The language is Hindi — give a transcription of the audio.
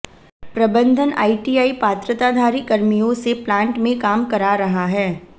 प्रबंधन आइटीआइ पात्रताधारी कर्मियों से प्लांट में काम करा रहा है